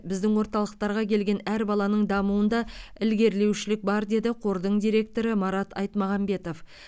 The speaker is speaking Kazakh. біздің орталықтарға келген әр баланың дамуында ілгерілеушілік бар деді қордың директоры марат айтмағамбетов